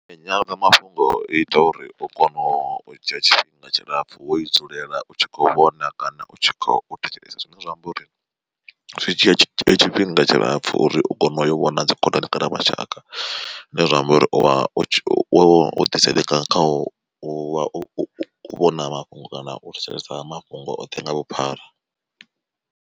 Nyanḓadzamafhungo ita uri u kone u dzhia tshifhinga tshilapfu wo i dzulela u tshi kho vhona kana u tshi khou thetshelesa zwine zwa amba uri. Zwi dzhia tshifhinga tshilapfu uri u kone u yo vhona dzi khonani kana mashaka, zwine zwa amba uri uvha wo ḓi sendeka kha u u vhona mafhungo kana u thetshelesa mafhungo oṱhe nga vhuphara.